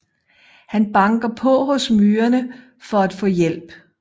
Han banker på hos myrerne for at få hjælp